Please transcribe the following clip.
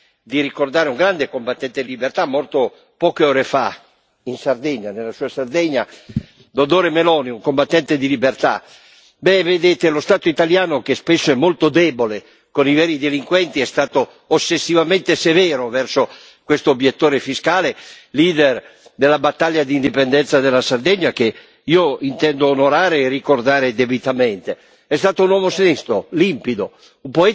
Io però oggi ho il dovere morale di ricordare un grande combattente di libertà morto poche ore fa in Sardegna, nella sua Sardegna Doddore Meloni, un combattente di libertà. Vedete, lo Stato italiano, che spesso è molto debole con i veri delinquenti, è stato ossessivamente severo verso questo obiettore fiscale, leader della battaglia d'indipendenza della Sardegna, che io intendo onorare e ricordare debitamente.